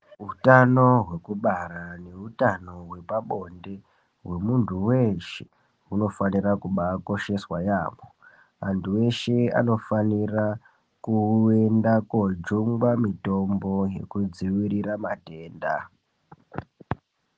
Utano hwekubara neutano hwepabonde hwemuntu weeshe hunofanira kubaakosheswa yaamho. Antu eshe anofanira kuenda koojungwa mitombo yekudzivirira matenda.